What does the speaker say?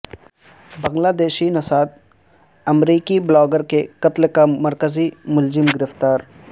بنگلہ دیشی نژاد امریکی بلاگر کے قتل کا مرکزی ملزم گرفتار